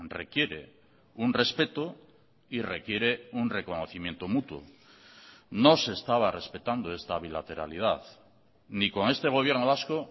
requiere un respeto y requiere un reconocimiento mutuo no se estaba respetando esta bilateralidad ni con este gobierno vasco